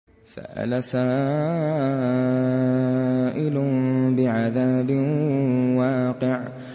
سَأَلَ سَائِلٌ بِعَذَابٍ وَاقِعٍ